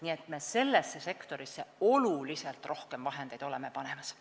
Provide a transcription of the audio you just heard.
Me oleme sellesse sektorisse oluliselt rohkem vahendeid panemas.